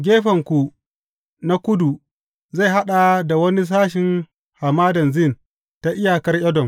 Gefenku na kudu zai haɗa da wani sashin Hamadan Zin ta iyakar Edom.